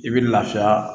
I bɛ lafiya